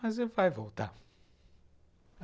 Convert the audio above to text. Mas vai voltar.